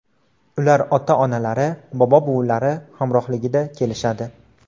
Ular ota-onalari, bobo-buvilari hamrohligida kelishadi.